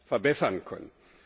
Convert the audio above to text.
verbessern können.